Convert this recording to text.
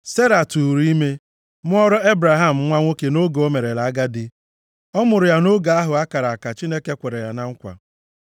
Sera tụụrụ ime, mụọra Ebraham nwa nwoke nʼoge o merela agadi. Ọ mụrụ ya nʼoge ahụ a kara aka Chineke kwere ya na nkwa.